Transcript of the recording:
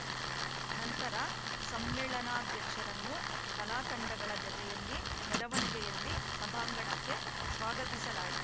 ನಂತರ ಸಮ್ಮೇಳನಾಧ್ಯಕ್ಷರನ್ನು ಕಲಾತಂಡಗಳ ಜತೆಯಲ್ಲಿ ಮೆರವಣಿಗೆಯಲ್ಲಿ ಸಭಾಂಗಣಕ್ಕೆ ಸ್ವಾಗತಿಸಲಾಯಿ